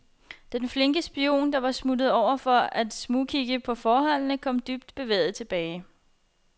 Den flinke spion, der var smuttet ovenpå for at smugkigge på forholdene, kom dybt bevæget tilbage.